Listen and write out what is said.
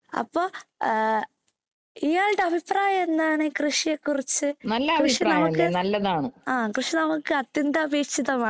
അപ്പൊ ഇയാള്‍ടെ അഭിപ്രായം എന്താണ് ഈ കൃഷിയെ കുറിച്ച്. കൃഷി നമുക്ക് അത്യന്താപേക്ഷിതമാണ്.